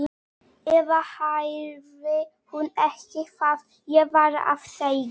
Eða heyrði hún ekki hvað ég var að segja?